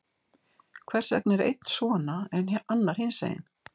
Hvers vegna er einn svona, en annar hinsegin?